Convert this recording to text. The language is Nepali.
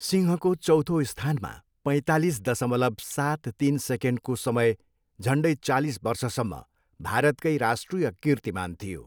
सिंहको चौथो स्थानमा पैँतालिस दसमलव सात तिन सेकेन्डको समय झन्डै चालिस वर्षसम्म भारतकै राष्ट्रिय कीर्तिमान थियो।